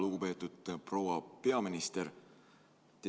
Lugupeetud proua peaminister!